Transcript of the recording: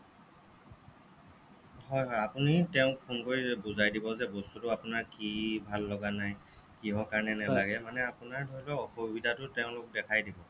হ'য় হ'য় আপুনি তেওঁক phone কৰি বুজাই দিব যে বস্তুটো আপোনাৰ কি ভাললগা নাই কিহৰ কাৰণে নেলাগে মানে আপোনাৰ ধৰি লওঁক অসুবিধাটো তেওঁলোকক দেখাই দিব